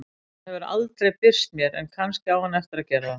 Hann hefur aldrei birst mér en kannski á hann eftir að gera það.